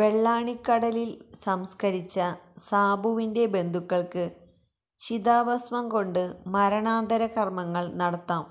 വെള്ളാണിക്കലില് സംസ്കരിച്ച സാബുവിന്െറ ബന്ധുക്കള്ക്ക് ചിതാഭസ്മം കൊണ്ട് മരണാനന്തരകര്മങ്ങള് നടത്താം